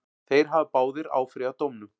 Þeir hafa báðir áfrýjað dómnum.